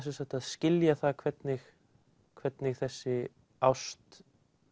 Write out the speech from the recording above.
skilja það hvernig hvernig þessi ást